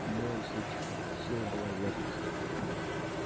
одной из этих сил была верность